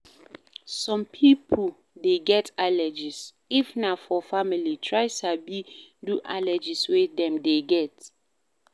Some pipo dey get allergies, if na for family, try sabi do allergies wey dem dey get